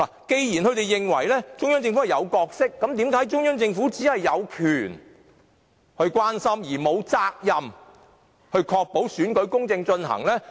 既然他們認為中央政府有角色，那為甚麼中央政府只是有權關心，而沒有責任確保選舉公正進行？